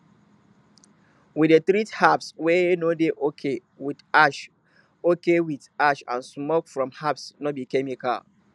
we dey treat herbs wey no dey okay with ash okay with ash and smoke from herbs no be chemical